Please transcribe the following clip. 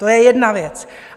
To je jedna věc.